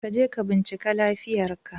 Ka je ka bincike lafiyar ka